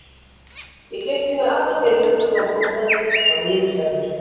Ég gleypti í mig alla fyrirlestrana og punktaði þá niður hjá mér.